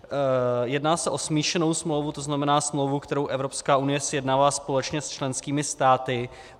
Jedná se o smíšenou smlouvu, to znamená smlouvu, kterou Evropská unie sjednává společně s členskými státy.